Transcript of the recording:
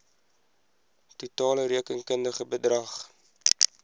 totale rekenkundige bedrag